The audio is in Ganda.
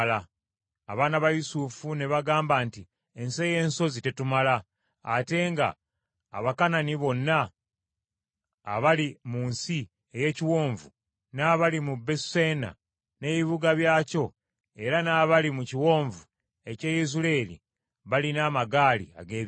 Abaana ba Yusufu ne bagamba nti, “Ensi ey’ensozi tetumala; ate nga Abakanani bonna abali mu nsi ey’ekiwonvu n’abali mu Besuseani n’ebibuga byakyo era n’abali mu kiwonvu eky’e Yezuleeri balina amagaali ag’ebyuma.”